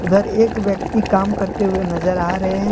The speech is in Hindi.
अंदर एक व्यक्ति काम करते हुए नजर आ रहे हैं।